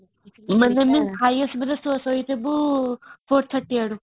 minimum